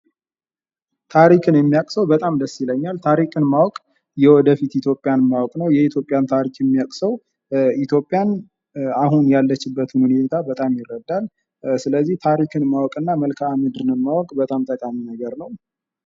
ታሪክን የሚያወለቅ ሰዉ በጣም ደስ ይለኛል። ታሪክን ማወቅ የወደፊት ኢትዮጵያን ማወቅ ነዉ። የኢትዮጵያን ታሪክ የሚያዉቅ ሰዉ ኢትዮጵያን አሁን ያለችበትን ሁኔታ በጣም ይረዳን። ስለዚህ ታሪክን ማወቅ እና መልካምድርን ማወቅ በጣም ጠቃሚ ነገር ነዉ።